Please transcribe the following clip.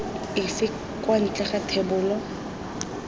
efe kwa ntle ga thebolo